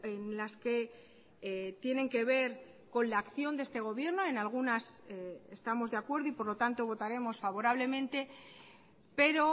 en las que tienen que ver con la acción de este gobierno en algunas estamos de acuerdo y por lo tanto votaremos favorablemente pero